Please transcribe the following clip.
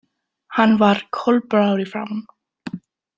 Hann var kolblár í framan.